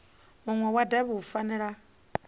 munwe wa davhi u fanela